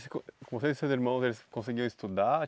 com vocês e seus irmãos eles conseguiam estudar?